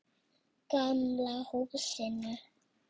Gamla húsinu.